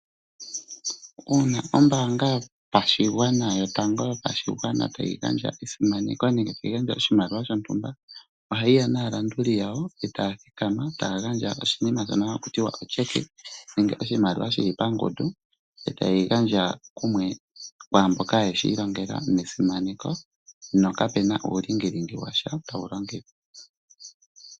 Uuna ombaanga yotango yopashigwana tayi gandja esimaneko nenge tayi gandja oshimaliwa shontumba, ohayi ya naalanduli yawo e taya thikama taya gandja oshinima shono haku tiwa o'Cheque', nenge oshimaliwa shi li pangundu e taye yi gandja kwaamboka ye shi ilongela nesimaneko. Na kapena uulingilingi washa tawu longithwa.